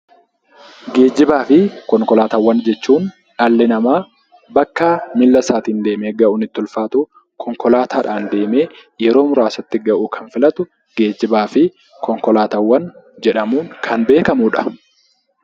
Geejjibaa fi konkoolaatawwaan jechuun dhalli nama bakka miilla isaatiin deemee ga'uun itti ulfatu konkolaatadhan yeroo murasatti ga'uu kan filatu geejibaa fi konkolaatawwan jedhamuun kan beekamudha.